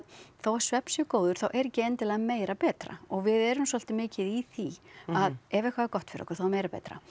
þó að svefn sé góður þá er ekki endilega meira betra og við erum svolítið mikið í því að ef eitthvað er gott fyrir okkur þá er meira betra